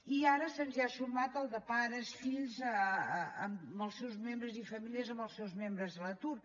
i ara se’ns hi ha sumat el de pares fills i famílies amb els seus membres a l’atur